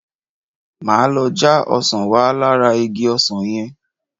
Máa lọ já ọsàn wá lára igi ọsàn yẹn.